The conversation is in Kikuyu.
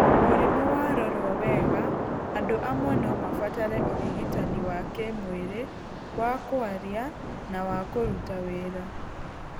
Mũrimũ warorwo wega, andũ amwe no mabatare ũrigitani wa kĩmwĩrĩ, wa kwaria na wa kũruta wĩra.